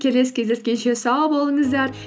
келесі кездескенше сау болыңыздар